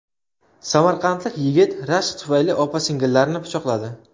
Samarqandlik yigit rashk tufayli opa-singillarni pichoqladi.